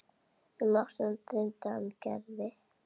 Um nóttina dreymdi hann Gerði.